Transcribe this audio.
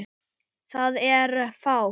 Það er fátt.